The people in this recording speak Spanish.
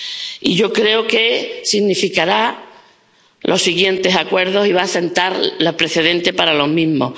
Y yo creo que servirá para los siguientes acuerdos y va a sentar los precedentes para los mismos.